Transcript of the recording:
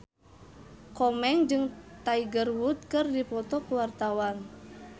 Komeng jeung Tiger Wood keur dipoto ku wartawan